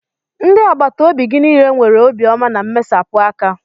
Ndị agbata obi gị niile nwere obiọma na mmesapụ aka